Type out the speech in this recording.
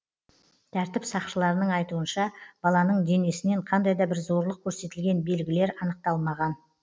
тәртіп сақшыларының айтуынша баланың денесінен қандай да бір зорлық көрсетілген белгілер анықталмаған